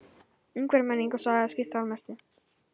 Umhverfi, menning og saga geta skipt þar mestu.